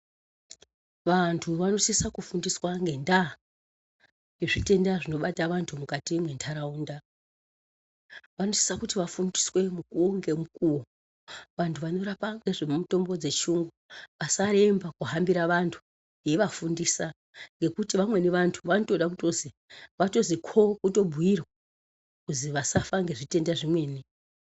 Vantu vanosisa kufundiswa ngendaa yezvitenda zvinobata vantu mukati mwentaraunda. Vanosisa kuti vafundiswe mukuwo ngemukuwo. Vantu vanorapa ngezvemutombo dzechiyungu vasaremba kuhambira vantu veivafundisa. Ngekuti vamweni vantu vanotoda kutozi vatozi kho kutobhuirwa, kuzi vasafa ngezvitenda zvimweni.